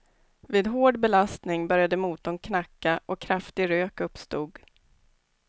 Vid hård belastning började motorn knacka och kraftig rök uppstod.